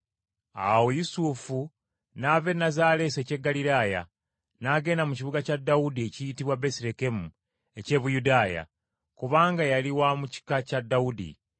Awo Yusufu n’ava e Nazaaleesi eky’e Ggaliraaya, n’agenda mu kibuga kya Dawudi ekiyitibwa Besirekemu eky’e Buyudaaya, kubanga yali wa mu kika kya Dawudi,